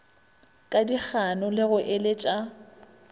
ka dikgano le go eletša